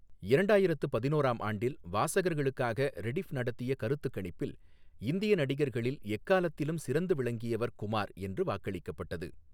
இரண்டாயிரத்து பதினோராம் ஆண்டில் வாசகர்களுக்காக ரெடிஃப் நடத்திய கருத்துக்கணிப்பில், "இந்திய நடிகர்களில் எக்காலத்திலும் சிறந்து விளங்கியவர் குமார்" என்று வாக்களிக்கப்பட்டது.